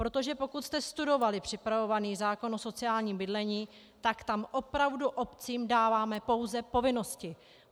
Protože pokud jste studovali připravovaný zákon o sociálním bydlení, tak tam opravdu obcím dáváme pouze povinnosti.